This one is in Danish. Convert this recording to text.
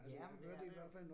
Ja, det er det